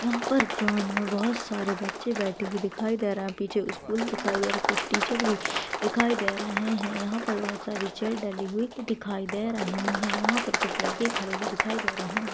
यहाँ पर ग्राउंड में बहुत सारे बच्चे बैठी हुई दिखाई दे रहे है पीछे स्कूल दिखाई दे रहा कुछ टीचर भी दिखाई दे रहे है यहाँ पर बहुत सारी चेअर डाली हुई दिखाई दे रही है यहाँ पर कुछ लड़के खडी हुई दिखाई दे रहे है।